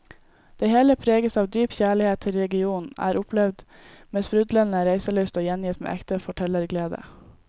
Det hele preges av dyp kjærlighet til regionen, er opplevd med sprudlende reiselyst og gjengitt med ekte fortellerglede.